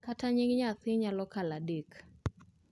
kata nying nyathi nyalo kalo adek